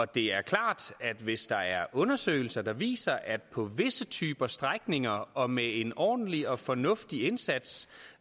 det er klart at hvis der er undersøgelser der viser at det på visse typer strækninger og med en ordentlig og fornuftig indsats